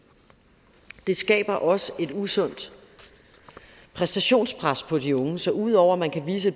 det skaber også et usundt præstationenspres på de unge så ud over at man kan vise